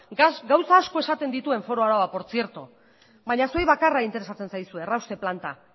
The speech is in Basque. gauza asko esaten dituen foru araua baina zuei bakarra interesatzen zaizue errauste planta